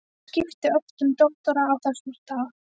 Þeir skiptu ört um doktora á þessum stað.